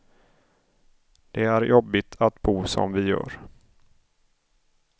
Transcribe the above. Det är jobbigt att bo som vi gör.